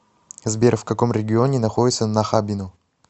сбер в каком регионе находится нахабино